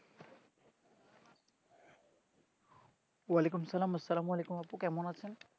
আলাইকুম আসসালাম আসসালামু আলাইকুম আপু কেমন আছেন